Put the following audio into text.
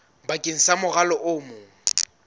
bakeng sa morwalo o mong